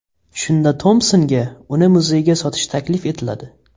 Shunda Tompsonga uni muzeyga sotish taklif etiladi.